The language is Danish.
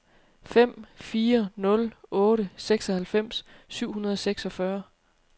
fem fire nul otte seksoghalvfems syv hundrede og seksogfyrre